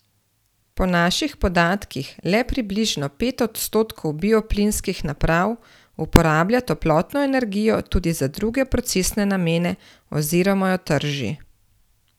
Po naših podatkih le približno pet odstotkov bioplinskih naprav uporablja toplotno energijo tudi za druge procesne namene, oziroma jo trži.